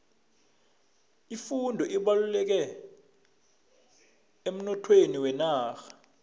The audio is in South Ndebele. ifundo ibalulekile emnothweni wenarha